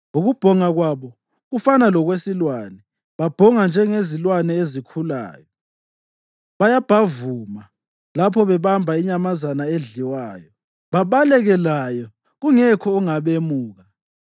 Ukubhonga kwabo kufana lokwesilwane, babhonga njengezilwane ezikhulayo, bayabhavuma lapho bebamba inyamazana edliwayo, babaleke layo kungekho ongabemuka.